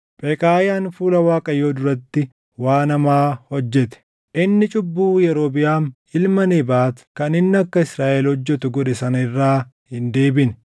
Pheqaayaan fuula Waaqayyoo duratti waan hamaa hojjete. Inni cubbuu Yerobiʼaam ilma Nebaat kan inni akka Israaʼel hojjetu godhe sana irraa hin deebine.